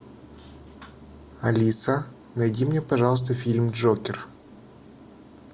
алиса найди мне пожалуйста фильм джокер